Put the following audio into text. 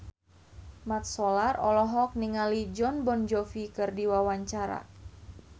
Mat Solar olohok ningali Jon Bon Jovi keur diwawancara